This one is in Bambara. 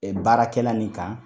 Ɛɛ baarakɛla nin kan